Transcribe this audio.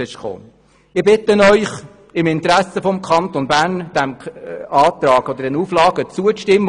Ich bitte Sie im Namen des Kantons Bern, diesen Auflagen zuzustimmen.